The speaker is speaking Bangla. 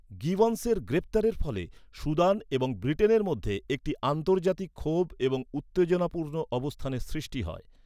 গিবন্সের গ্রেপ্তারের ফলে সুদান এবং ব্রিটেনের মধ্যে একটি আন্তর্জাতিক ক্ষোভ এবং উত্তেজনাপূর্ণ অবস্থানের সৃষ্টি হয়।